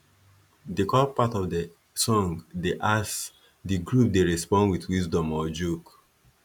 de call part of de song dey ask de group dey respond wit wisdom or joke